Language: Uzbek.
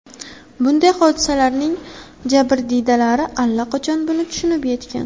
Bunday hodisalarning jabrdiydalari allaqachon buni tushunib yetgan.